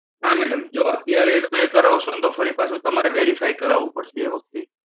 હા madam, જો અત્યારે તમે કરાવશો ને તો ફરી પાછું તમારે verify કરાવવું પડશે તે વખતે.